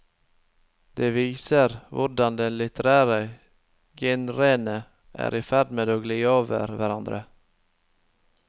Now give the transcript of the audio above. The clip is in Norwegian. Det viser hvordan de litterære genrene er i ferd med å gli over i hverandre.